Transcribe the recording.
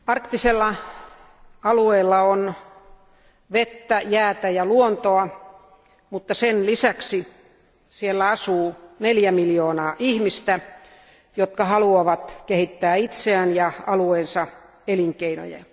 Arvoisa puhemies, arktisella alueella on vettä, jäätä ja luontoa, mutta sen lisäksi siellä asuu neljä miljoonaa ihmistä, jotka haluavat kehittää itseään ja alueensa elinkeinoja.